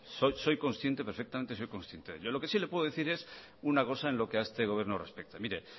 soy consciente perfectamente soy consciente de ello lo que sí le puedo decir es una cosa en lo que a este gobierno respecta mire